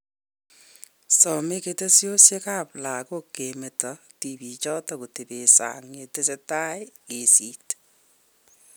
Some ketesyosek ab lagook kemeto tibiichoto kotebe sang yatesetai ak kesiit